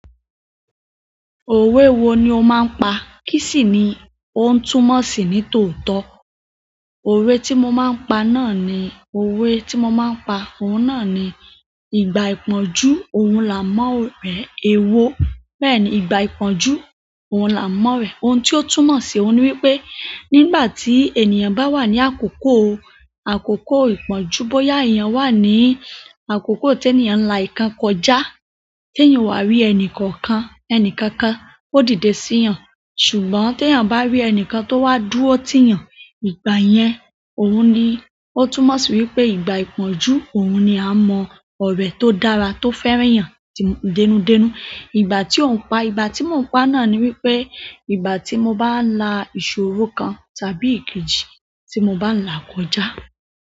Òwe wo ni ó máa ń pa? Kí sì ni ó ń túmọ̀ sí ní tòótọ́? Òwe tí mo máa ń pa náà ni òwe tí mo máa ń pa, òun náà ni "Ìgbà ìpọ́njú òun la mọ́ ọ̀rẹ́ ẹ wo." Bẹ́ẹ̀ ni, ìgbà ìpọ́njú òun la mọ́ ọ̀rẹ́. Ohun tí ó túmọ̀ sí i, òun ni wípé nígbà tí ènìyàn bá wà ní àkókò, àkókò ìpọ́njú, bóyá èèyàn wà ní àkókò tí ènìyàn ń la ǹkan kọjá, tí ènìyàn wà rí ẹnì kankan, ẹnì kankan, ó dìde sí ìyàn. Ṣùgbọ́n tí èèyàn bá rí ẹnìkan tó wá dúró tì yàn, ìgbà yẹn, òun ni ó túmọ̀ sí wípé ìgbà ìpọ́njú òun ni a mọ̀ ọ̀rẹ́ tó dára, tó fẹ́ràn ìyàn tí ń dẹ́nú dẹ́nú. Ìgbà tí ó ń pa, ìgbà tí mò ń pa náà ni wípé ìgbà tí mo bá la ìṣòro kan tàbí kejì tí mo bá ń là kọjá.